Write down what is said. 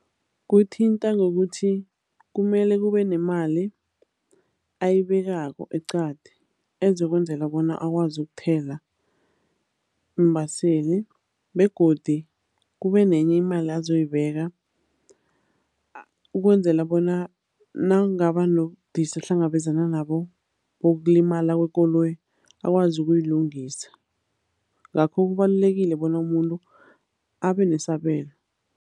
Kuthinta ngokuthi kumele kube nemali ayibekako eqadi ezokwenzela bona akwazi ukuthela iimbaseli begodi kubenenye imali azoyibeka ukwenzela bona nakungaba nobudisi ahlangabezana nabo bokulimala kwekoloyi, akwazi ukuyilungisa. Ngakho kubalulekile bona umuntu abenesabelo.